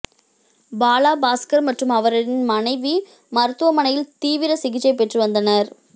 பாலா பாஸ்கர் மற்றும் அவரின் மனைவி மருத்துவமனையில் தீவிர சிகிச்சை பெற்றுவந்தனர்